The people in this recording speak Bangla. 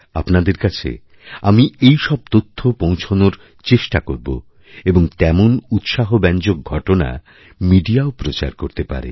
আপনাদের কাছে এইসব তথ্য পৌঁছনোর ব্যবস্থা হবে এবং তেমন উৎসাহব্যঞ্জক ঘটনামিডিয়াও প্রচার করতে পারে